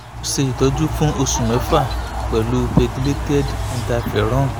o ṣe itọju fun oṣu mẹfa pẹlu pegylated interferon ati ribavarin